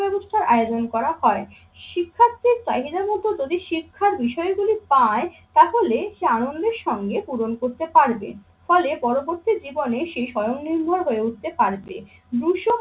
ব্যবস্থার আয়োজন করা হয়। শিক্ষার্থীর চাহিদা মতো যদি শিক্ষার বিসয়গুলি পায় তাহলে সে আনন্দের সঙ্গে পূরণ করতে পারবেন। ফলে পরবর্তী জীবনে সে স্বয়ংনির্ভর হয়ে উঠতে পারবে। দুশো